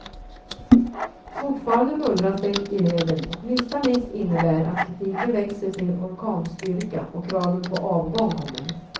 Fortfarande mullras det i leden, och minsta miss innebär att kritiken växer till orkanstyrka och kraven på avgång kommer.